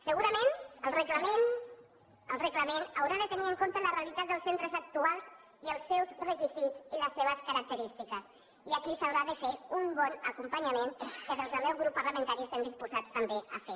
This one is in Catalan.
segurament el reglament haurà de tenir en compte la realitat dels centres actuals i els seus requisits i les seves característiques i aquí s’haurà de fer un bon acompanyament que des del meu grup parlamentari estem disposats també a fer